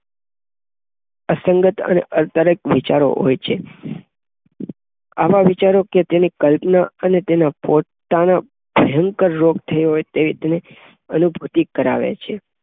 અસનગત અને આર્ટ્ર્ક વિચાર હોય છે. આવા વિચારોકે તેની કલ્પના અને તેના પોતાનો ભયકંર રોગ થયો હોય તેવી તેનો અનુભૂતિ કરાવે છે.